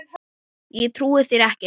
Ég trúi þér ekki.